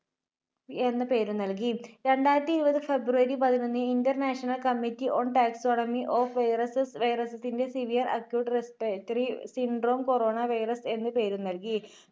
എന്ന പേരുനൽകി. രണ്ടായിരത്തിഇരുപത് February പതിനൊന്ന് international committee on taxonomy of viruses viruses ന്റെ Severe Acute Respiratory Syndrome Corona virus എന്ന് പേര് നൽകി.